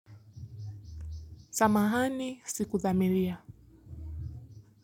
Samahani siku dhamiria.